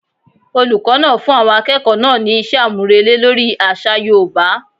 Olùkó náà fún àwọn akẹ́kọ̀ọ́ náà ní iṣẹ́ àmúrelé lórí àṣà yoòbá